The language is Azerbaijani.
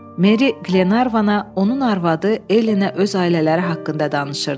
Meri Glenarvana, onun arvadı Elenə öz ailələri haqqında danışırdı.